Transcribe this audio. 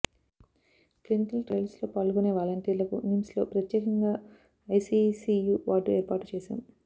clinical ట్రయల్స్లో పాల్గొనే వాలంటీర్లకు నిమ్స్లో ప్రత్యేకంగా ఐసీసీయూ వార్డు ఏర్పాటు చేశాం